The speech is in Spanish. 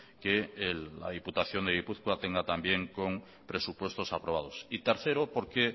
que la diputación de gipuzkoa tenga también con presupuestos aprobados y tercero porque